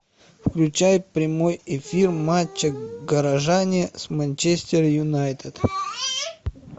включай прямой эфир матча горожане с манчестер юнайтед